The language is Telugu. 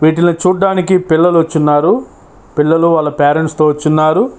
వీటిలో చూడడానికి పిల్లలు వచ్చి ఉన్నారు పిల్లలు వాళ్ళ పేరెంట్స్ తో వచ్చినారు.